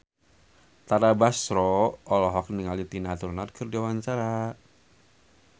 Tara Basro olohok ningali Tina Turner keur diwawancara